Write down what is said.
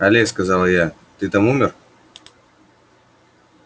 але сказала я ты там умер